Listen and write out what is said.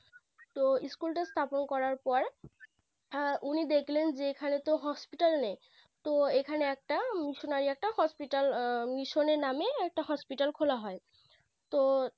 তো School টার স্থাপন করার পর হ্যাঁ উনি দেখলেন যে এখানে তো Hospital নেই তো এখানে একটা Misstonary একটা Hospital Mission এর নামে একটা Hospital খোলা হয় তো